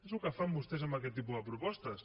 és el que fan vostès amb aquest tipus de propostes